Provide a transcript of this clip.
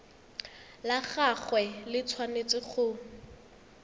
la gagwe le tshwanetse go